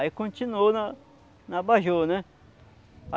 Aí continuou na na abajur, né?